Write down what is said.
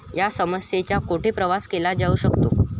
या समस्येचे कोठे प्रवेश केला जाऊ शकतो?